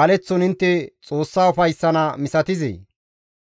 baleththon intte Xoossa ufayssana inttes misatizee?